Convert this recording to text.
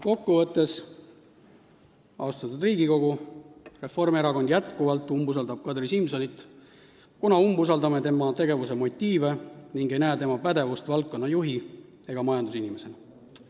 Kokkuvõtteks ütlen, austatud Riigikogu, et Reformierakond umbusaldab jätkuvalt Kadri Simsonit, kuna me umbusaldame tema tegevuse motiive ega näe tema pädevust ei valdkonna juhi ega majandusinimesena.